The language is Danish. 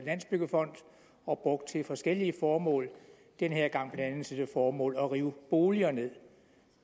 landsbyggefonden og brugt til forskellige formål den her gang blandt andet til det formål at rive boliger nederst